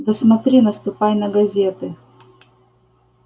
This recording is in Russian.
да смотри наступай на газеты